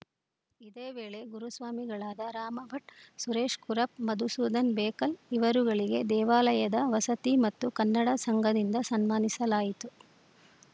ಇದೇ ವೇಳೆ ಗುರುಸ್ವಾಮಿಗಳಾದ ರಾಮಭಟ್‌ ಸುರೇಶ್‌ ಕುರಪ್‌ ಮಧುಸೂಧನ್‌ ಬೇಕಲ್‌ ಇವರುಗಳಿಗೆ ದೇವಾಲಯದ ವಸತಿ ಮತ್ತು ಕನ್ನಡ ಸಂಘದಿಂದ ಸನ್ಮಾನಿಸಲಾಯಿತು